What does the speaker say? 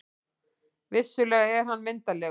Vissulega er hann myndarlegur.